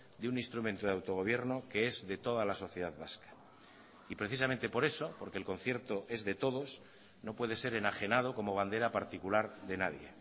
de un instrumento de autogobierno que es de toda la sociedad vasca y precisamente por eso porque el concierto es de todos no puede ser enajenado como bandera particular de nadie